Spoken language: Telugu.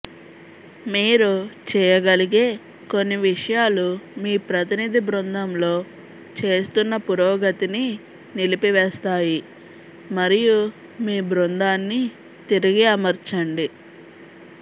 మీరు చేయగలిగే కొన్ని విషయాలు మీ ప్రతినిధి బృందంలో చేస్తున్న పురోగతిని నిలిపివేస్తాయి మరియు మీ బృందాన్ని తిరిగి అమర్చండి